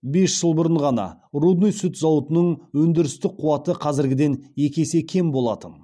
бес жыл бұрын ғана рудный сүт зауытының өндірістік қуаты қазіргіден екі есе кем болатын